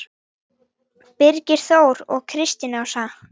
Birgir Þór og Kristín Ásta.